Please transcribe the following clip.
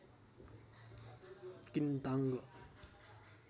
किन्ताङ्ग